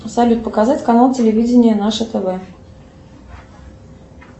салют показать канал телевидения наше тв